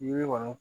Yiri kɔni